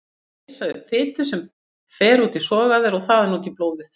Þau leysa upp fitu sem fer út í sogæðar og þaðan út í blóðið.